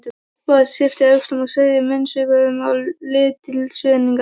Bóas yppti öxlum og sveigði munnvikin í lítilsvirðingar